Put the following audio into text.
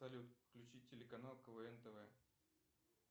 салют включить телеканал квн тв